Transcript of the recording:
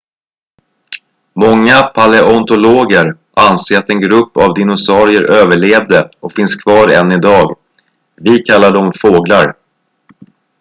många paleontologer anser att en grupp av dinosaurier överlevde och finns kvar än idag vi kallar dem fåglar